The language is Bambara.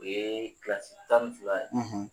U ye kilasi tan ni fila ye,